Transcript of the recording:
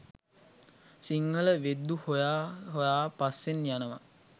සිංහල වෙද්දු හොය හොයා පස්සෙන් යනවා